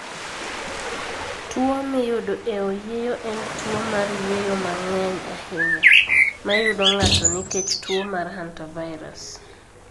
Tuwo miyudo e oyieyo en tuwo mar yueyo ma ng'eny ahinya, ma yudo ng'ato nikech tuo mar hantavirus.